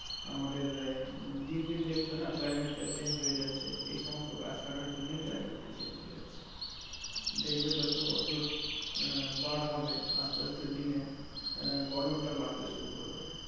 আমাদের এই দিন দিন দেখছো না climate টা change হয়ে যাচ্ছে। এই সমস্ত গাছ কাটার জন্যেই climate টা change হয়ে যাচ্ছে। দেখবে যত বছর আহ পার হবে আসতে আসতে দিনে আহ গরমটা বাড়তে শুরু করবে।